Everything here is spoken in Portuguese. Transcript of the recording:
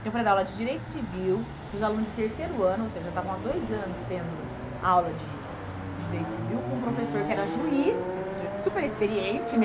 Então, para dar aula de Direito Civil para os alunos de terceiro ano, ou seja, já estavam há dois anos tendo aula de de Direito Civil com um professor que era juiz, quer dizer, já era super experiente, né?